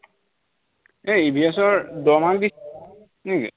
এই EVS ৰ দহ mark দি কেনেকে?